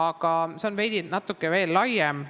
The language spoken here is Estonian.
Kuid see on veidi laiem küsimus.